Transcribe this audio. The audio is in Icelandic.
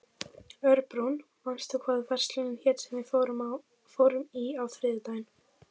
Örbrún, manstu hvað verslunin hét sem við fórum í á þriðjudaginn?